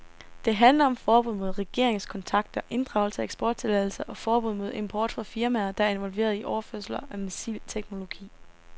Det handler om forbud mod regeringskontakter, inddragelse af eksporttilladelser og forbud mod import fra firmaer, der er involveret i overførelser af missilteknologi.